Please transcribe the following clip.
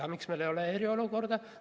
Aga miks meil ei ole eriolukorda?